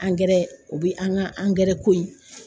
o bi an ka ko in